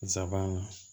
Nsaban